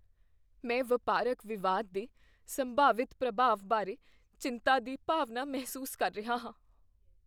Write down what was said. ਮੈਂ ਵਪਾਰਕ ਵਿਵਾਦ ਦੇ ਸੰਭਾਵਿਤ ਪ੍ਰਭਾਵ ਬਾਰੇ ਚਿੰਤਾ ਦੀ ਭਾਵਨਾ ਮਹਿਸੂਸ ਕਰ ਰਿਹਾ ਹਾਂ।